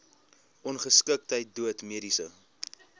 ongeskiktheid dood mediese